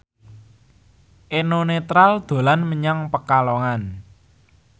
Eno Netral dolan menyang Pekalongan